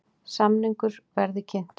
Samningur verði kynntur formönnum